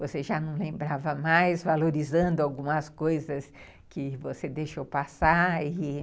Você já não lembrava mais, valorizando algumas coisas que você deixou passar, e